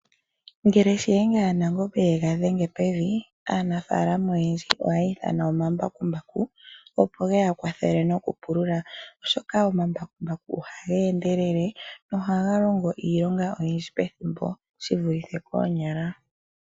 Shiyenga shaNangombe ngele ye ga dhenge pevi, aanafaalama oyendji ohaya ithana omambakumbaku, opo ge ya kwathele nokupula omapapya gawo, oshoka omambakumbaku ohaga endelele na ohaga longo iilonga oyindji muule wethimbo ehupi, shi vulithe ngele tayi longwa koonyala.